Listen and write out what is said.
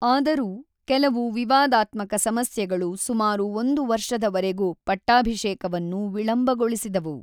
ಆದರೂ, ಕೆಲವು ವಿವಾದಾತ್ಮಕ ಸಮಸ್ಯೆಗಳು ಸುಮಾರು ಒಂದು ವರ್ಷದವರೆಗೂ ಪಟ್ಟಾಭಿಷೇಕವನ್ನು ವಿಳಂಬಗೊಳಿಸಿದವು.